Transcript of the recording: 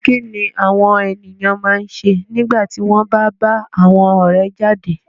Kí ni àwọn ènìyàn máa ń ṣe nígbà tí wọ́n bá ń bá àwọn ọ̀rẹ́ jáde?